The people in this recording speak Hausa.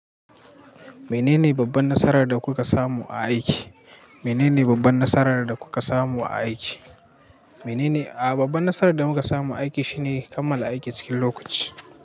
Menene babban nasarar da kuka samu a aiki? Menene babban nasarar da kuka samu a aiki? Menene A'a, babban nasarar da muka samu a aiki shine kammala aiki cikin lokaci.